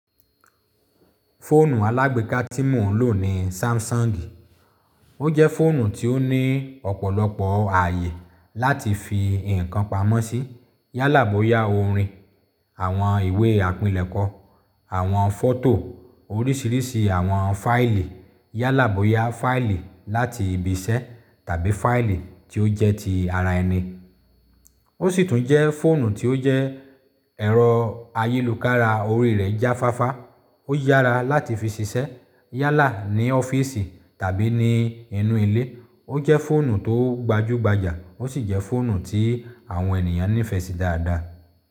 Fóònù alágbeeka tí mò ń lò ni Samsung. O jẹ́ fóònù tí ó ní ọ̀pọ̀lọpọ̀ ààyè láti fi nǹkan pamọ́ sí. Yálàboya orin, àwọn ìwé àpilẹ̀kọ́, àwọn fọ́tò, oríṣiríṣi àwọn fáìlì, yálà boya fáìlì láti ibi iṣẹ́ tàbí fáìlì tí ó jẹ́ ti ara ẹni. Ó sì tún jẹ́ fóònù tí ó jẹ́ ẹ̀rọ ayélukára orí rẹ̀ jáfáfá. Ó yára láti fi ṣiṣẹ́ yálà ní ọ́fíìsì tàbí ní inú ilé. Ó jẹ́ fóònù tó gbajúgbajà, ó sì jẹ́ fóònù tí àwọn ènìyàn nífẹ̀ẹ́ sí dáadáa.